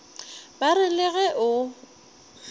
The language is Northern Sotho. ba re le ge o